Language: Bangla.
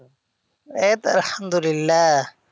এইতো আলহামদুল্লিয়াহ